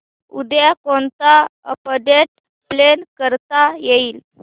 उद्या कोणतं update plan करता येईल